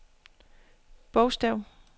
bogstav